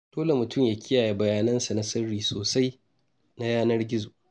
Dole mtum ya kiyaye bayanansa na sirri sosai na yanar-gizo.